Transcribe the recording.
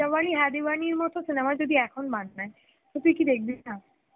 Hindi মত cinema যদি এখন তো তুই কি দেখবি না